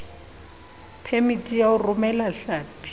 phemiti ya ho romela hlapi